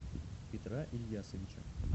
петра ильясовича